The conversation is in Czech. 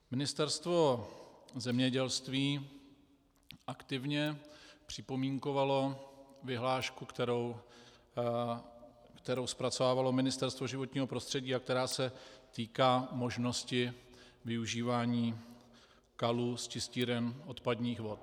Ministerstvo zemědělství aktivně připomínkovalo vyhlášku, kterou zpracovávalo Ministerstvo životního prostředí a která se týká možnosti využívání kalů z čistíren odpadních vod.